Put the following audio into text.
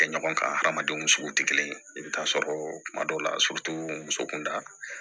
Kɛ ɲɔgɔn kan hadamadenw sugu tɛ kelen ye i bɛ taa sɔrɔ kuma dɔw la muso kun da